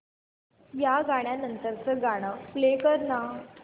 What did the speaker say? या गाण्या नंतरचं गाणं प्ले कर ना